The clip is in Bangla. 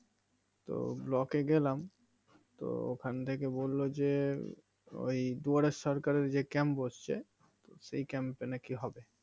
তো ব্লকে গেলাম তো ওখান থেকে বললো যে ওই দুয়ারের সরকার এর যে Camp বসছে সেই Camp এ নাকি হবে